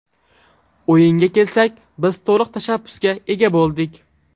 O‘yinga kelsak, biz to‘liq tashabbusga ega bo‘ldik.